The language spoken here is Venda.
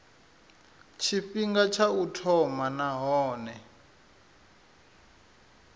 tshifhinga tsha u thoma nahone